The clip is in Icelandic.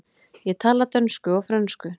Ég tala dönsku og frönsku.